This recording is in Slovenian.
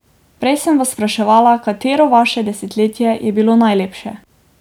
Prej sem vas vprašala, katero vaše desetletje je bilo najlepše.